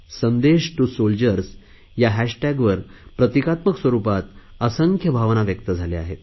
संदेश to soldiers या हॅशटॅगवर प्रतिकात्मक स्वरुपात असंख्य भावना व्यक्त झाल्या आहेत